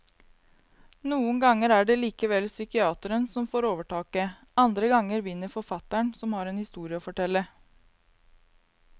Noen ganger er det likevel psykiateren som får overtaket, andre ganger vinner forfatteren som har en historie å fortelle.